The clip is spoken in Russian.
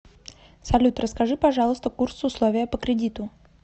салют расскажи пожалуйста курс условия по кредиту